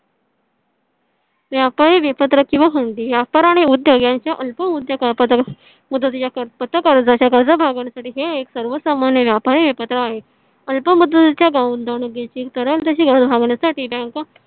व्यापारी विपत्रक किंवा हंडी व्यापाराने उद्योग यांच्या अल्प उद्यापदक मुदतीचा कर पथकाच्या गरजा भागवण्यासाठी हे एक सर्वसामान्य व्यापारी विपत्रक आहे. अल्प मजुरीच्या कराल तशी गरज भागवण्यासाठी bank